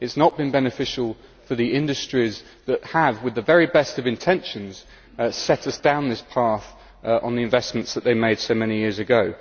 It has not been beneficial for the industries that have, with the very best of intentions, set us down this path on the investments that they made so many years ago.